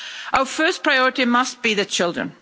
Our first priority must be the children.